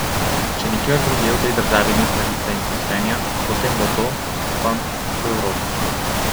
Če nikjer drugje v tej državi ni pravice in poštenja, potem bo to, upam, v Evropi.